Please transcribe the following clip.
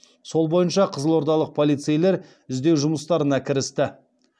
сол бойынша қызылордалық полицейлер іздеу жұмыстарына кірісті